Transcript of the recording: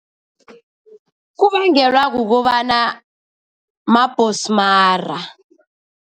Kubangelwa kukobana mabhosmara.